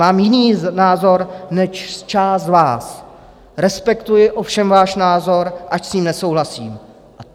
Mám jiný názor než část z vás, respektuji ovšem váš názor, ač s ním nesouhlasím.